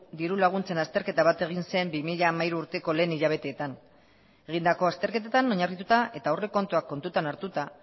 dirulaguntzen azterketa bat egin zen bi mila hamairu urteko lehen hilabeteetan egindako azterketetan oinarrituta eta aurrekontuak kontutan hartuta